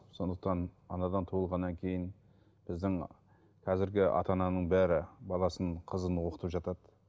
сондықтан анадан туылғаннан кейін біздің қазіргі ата ананың бәрі баласын қызын оқытып жатады